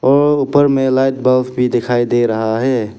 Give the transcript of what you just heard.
और ऊपर में लाइट बल्ब भी दिख रहा है।